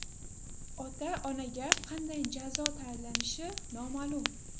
Ota-onaga qanday jazo tayinlanishi noma’lum.